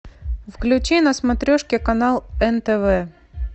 включи на смотрешке канал нтв